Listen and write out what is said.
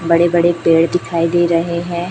बड़े बड़े पेड़ दिखाई दे रहे हैं।